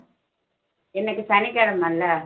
இன்னைக்கு சனிக்கிழமை இல்லை